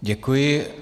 Děkuji.